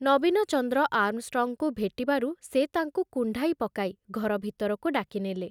ନବୀନଚନ୍ଦ୍ର ଆର୍ମଷ୍ଟ୍ରଙ୍ଗଙ୍କୁ ଭେଟିବାରୁ ସେ ତାଙ୍କୁ କୁଣ୍ଢାଇ ପକାଇ ଘର ଭିତରକୁ ଡାକିନେଲେ।